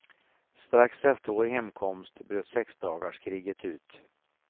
Strax efter vår hemkomst bröt sexdagarskriget ut.